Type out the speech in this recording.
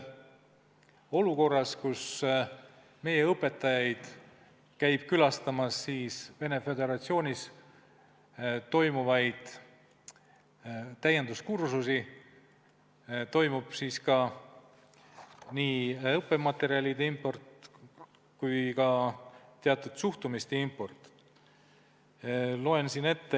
Olukorras, kus meie õpetajad käivad külastamas Venemaa Föderatsioonis korraldatavaid täienduskursusi, toimub nii õppematerjalide import kui ka teatud suhtumiste import.